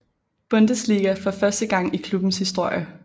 Bundesliga for første gang i klubbens historie